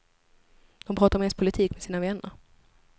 De pratar mest politik med sina vänner.